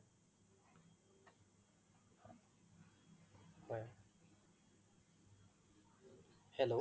hello